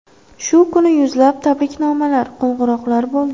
Shu kuni yuzlab tabriknomalar, qo‘ng‘iroqlar bo‘ldi.